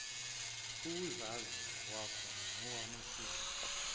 ukuzazi ngokwakho nokwamasiko